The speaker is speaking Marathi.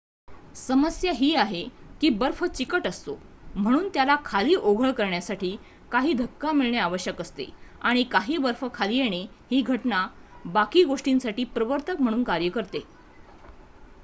समस्या ही आहे की बर्फ चिकट असतो म्हणून त्याला खाली ओघळ करण्यासाठी काही धक्का मिळणे आवश्यक असते आणि काही बर्फ खाली येणे ही घटना बाकी गोष्टींसाठी प्रवर्तक म्हणून कार्य करते